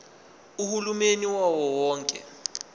uhulumeni wawo wonke